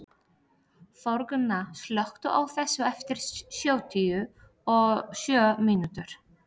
Þórgunna, slökktu á þessu eftir sjötíu og sjö mínútur.